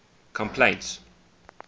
complaints